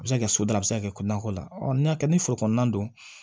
A bɛ se ka kɛ so dala a bɛ se ka kɛ ko nakɔ la n'i y'a kɛ ni foro kɔnɔna don